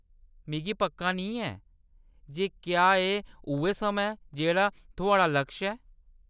मिगी पक्का नेईं ऐ जे क्या एह् उ'ऐ समां ऐ जेह्‌ड़ा थुआढ़ा लक्ष ऐ।